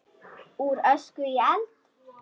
Úr ösku í eld?